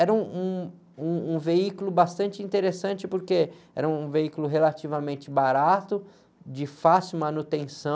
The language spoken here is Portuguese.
Era um, um, um, um veículo bastante interessante porque era um veículo relativamente barato, de fácil manutenção.